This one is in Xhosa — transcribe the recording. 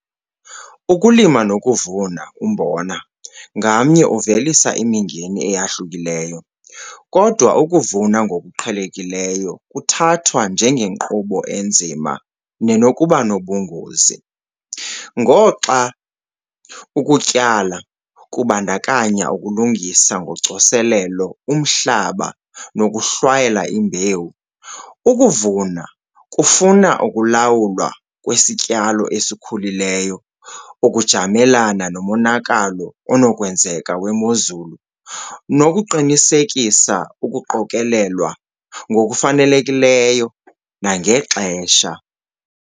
Ukulima nokuvuna umbona ngamnye uvelisa imingeni eyahlukileyo, kodwa ukuvuna ngokuqhelekileyo kuthathwa njengenkqubo enzima nenokuba nobungozi. Ngoxa ukutyala kubandakanya ukulungisa ngocoselelo umhlaba nokuhlwayela imbewu, ukuvuna kufuna ukulawulwa kwesityalo esikhulileyo, ukujamelana nomonakalo onokwenzeka wemozulu nokuqinisekisa ukuqokelelwa ngokufanelekileyo nangexesha.